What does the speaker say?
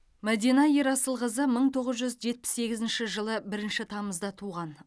мәдина ерасылқызы мың тоғыз жүз жетпіс сегізінші жылы бірінші тамызда туған